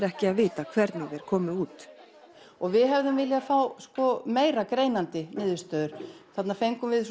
ekki að vita hvernig þeir komu út við hefðum viljað fá meira greinandi niðurstöður þarna fengum við